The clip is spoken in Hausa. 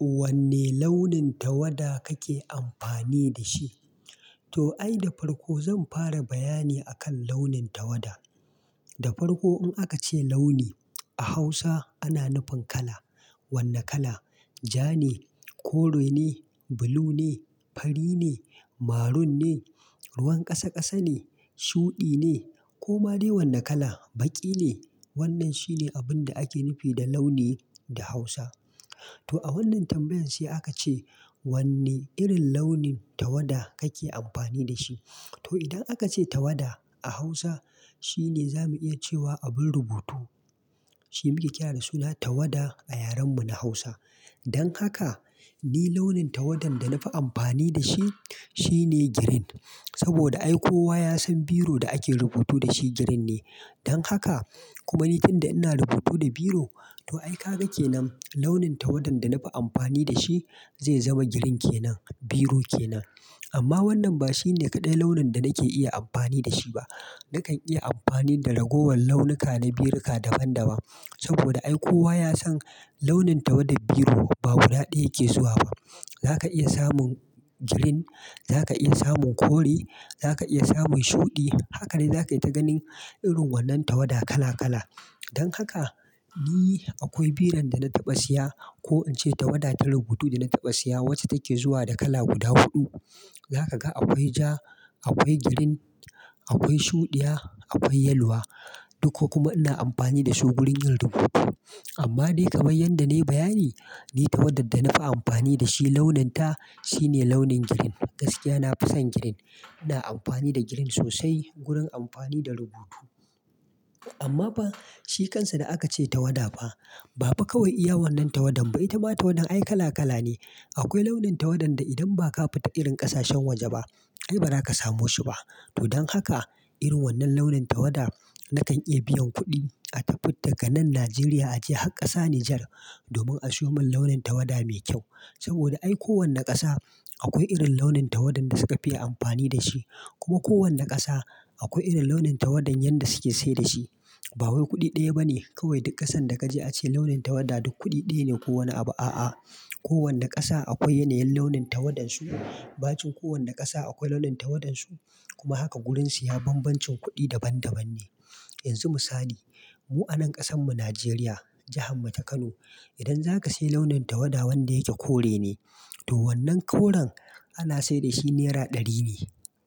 Wanne launin tawada kake amfani da shi? To, ai da farko zan fara bayani akan launin tawada. Da farko, in aka ce launi a Hausa ana nufin kala. Wane kala? Ja ne, kore ne, blue ne, fari ne, maroon ne, ruwan ƙasa ƙasa ne, shuɗi ne ko ma dai wane kala, baƙi ne. Wannan shine abin da ake nufi da launi da Hausa. To a wannan tambayan sai aka ce wanne irin launin tawada kake amfani da shi. To, idan aka ce tawada a Hausa, shine za mu iya cewa abun rubutu. Shi muke kira da suna tawada a yaren mu na Hausa. Don haka, ni launin tawadan da na fi amfani da shi shine green. Saboda ai kowa ya san biro da ake rubutu da shi girin ne. Don haka, kuma ni tun da ina rubutu da biro, to ai ka ga ke nan launin tawadan da na fi amfani da shi zai zama green kenan, biro kenan. Amma wannan ba shi ne kaɗai launin da nake iya amfani da shi ba. Nakan iya amfani da ragowar launuka na biruka daban daban. Saboda ai kowa ya san launin tawadar biro ba guda ɗaya yake zuwa ba. Za ka iya samun green, za ka iya samun kore, za ka iya samun shuɗi. Haka ne za kayi ta ganin irin wannan tawada kala kala. Don haka, ni akwai biron da na taɓa siya ko in ce tawada ta rubutu da na taɓa siya wacce take zuwa da kala guda huɗu. Za ka ga akwai ja, akwai green, akwai shuɗiya, akwai yaluwa. Duka kuma ina amfani da su gurin yin rubutu. Amma dai kaman yanda na yi bayani, ni tawadar da na fi amfani da shi launin ta shine launin green. Gaskiya na fi son girin. Ina amfani da girin sosai gurin amfani da rubutu. Amma fa shi kansa da aka ce tawada fa. Bafa kawai iya wannan tawadan ba. Itama tawadan ai kala kala ne. Akwai launin tawadan da idan ba ka fita irin ƙasashen waje ba, ai bara ka samu shi ba. To don haka, irin wannan launin tawada nakan iya biyan kuɗi a tafi daga nan Najeriya a je har ƙasa Nijar domin a siyo mun launin tawada mai kyau. Saboda ai kowane ƙasa akwai irin launin tawadan da suka fi amfani da shi. Kuma kowane ƙasa akwai irin launin tawadan yadda suke sai da shi. Ba wai kuɗi ɗaya ba ne kawai duk ƙasan da ka je a ce launin tawada duk kuɗi ɗaya ne ko wane abu. A'a, kowani ƙasa akwai yanayin launin tawadan su. Ɓacin kowani ƙasa akwai launin tawadan su. Kuma haka gurin siya banbancin kuɗi daban daban ne. Yanzu misali, mu a nan ƙasan mu Najeriya, jihar mu ta Kano. Idan za ka sayi launin tawada wanda yake kore ne, to wannan koren ana sayar da shi naira ɗari ne